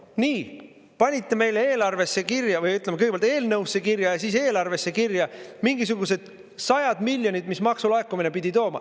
Nii, panite meile eelarvesse kirja või, ütleme, kõigepealt eelnõusse kirja ja siis eelarvesse kirja mingisugused sajad miljonid, mis maksulaekumine pidi tooma.